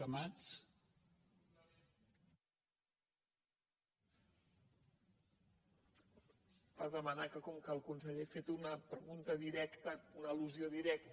per demanar que com que el conseller ha fet una pregunta directa una al·lusió directa